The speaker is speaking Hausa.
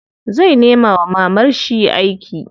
Zai nema wa mamarshi aiki.